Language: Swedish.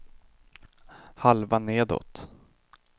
halva nedåt